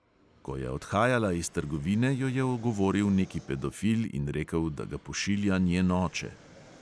Ko je odhajala iz trgovine, jo je ogovoril neki pedofil in rekel, da ga pošilja njen oče.